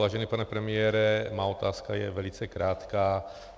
Vážený pane premiére, moje otázka je velice krátká.